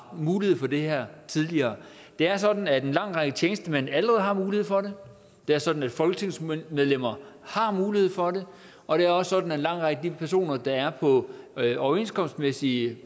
mulighed for det her tidligere det er sådan at en lang række tjenestemænd allerede har mulighed for det det er sådan at folketingsmedlemmer har mulighed for det og det er også sådan at en lang række af de personer der er på overenskomstmæssige